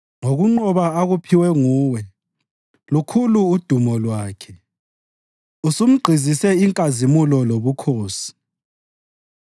Ngokunqoba akuphiwe nguwe lukhulu udumo lwakhe; usumgqizise inkazimulo lobukhosi.